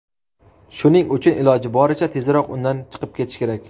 shuning uchun iloji boricha tezroq undan chiqib ketish kerak.